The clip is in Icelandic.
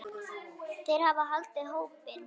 Þeir hafa haldið hópinn.